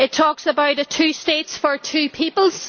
It talks about two states for two peoples.